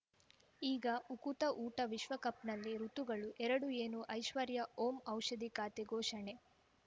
ಈಗ ಉಕುತ ಊಟ ವಿಶ್ವಕಪ್‌ನಲ್ಲಿ ಋತುಗಳು ಎರಡು ಏನು ಐಶ್ವರ್ಯಾ ಓಂ ಔಷಧಿ ಖಾತೆ ಘೋಷಣೆ